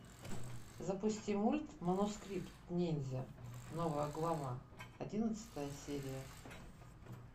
запусти мульт манускрипт ниндзя новая глава одиннадцатая серия